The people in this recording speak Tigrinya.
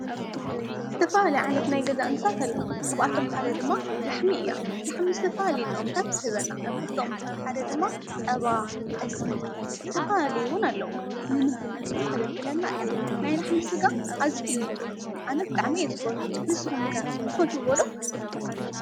ዝተፈላለዩ ናይ ገዛ እንስሳት ኣለው፡፡ ካብኣቶም ድማ ላሕሚ እያ፡፡ ላሕሚ ዝተፈላለየ ጥቅምታት ትበና ካብኣቶም ሓደ ድማ ፀባ፣ ጠስሚ ዝተፈላለዩን ውን ኣለው፡፡ ንምግብነት ውን ተገልግለና እያ ናይ ላሕሚ ስጋ ብጣዕሚ እዩ ጥዑም ኣነ ብጣዕሚ እየ ዝፈቱ ንሱኹም ከ ትፈትዎ ዶ?